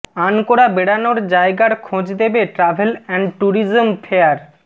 আনকোরা বেড়ানোর জায়গার খোঁজ দেবে ট্রাভেল অ্যান্ড ট্যুরিজম ফেয়ার